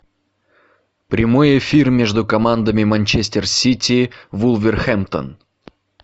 прямой эфир между командами манчестер сити вулверхэмптон